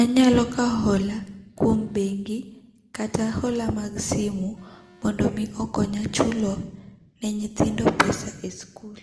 anyalo kawo ola e bengi, kata ola mag simo mondo mi okonya chulo ne nyithindo pesa e skul.